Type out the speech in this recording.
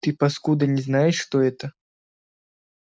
ты паскуда не знаешь что это